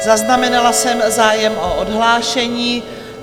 Zaznamenala jsem zájem o odhlášení.